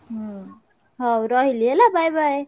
ହୁଁ ହଉ ରହିଲି ହେଲା bye bye।